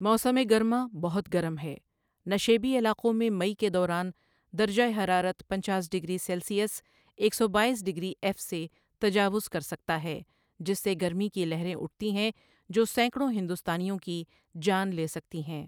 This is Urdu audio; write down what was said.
موسم گرما بہت گرم ہے، نشیبی علاقوں میں مئی کے دوران درجہ حرارت پنچاس ڈگری سیلسیلئس ایک سوبایس ڈگری ایف سے تجاوز کر سکتا ہے، جس سے گرمی کی لہریں اٹھتی ہیں جو سینکڑوں ہندوستانیوں کی جان لے سکتی ہیں